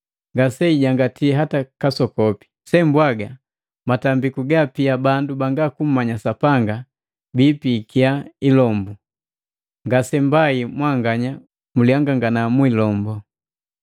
Ngaseijangati hata kasokope! Sembwaga matambiku gapia bandu banga kummanya Sapanga biipiki ilombu, nga Sapanga. Ngasembai mwanganya mulihangangana niilombu.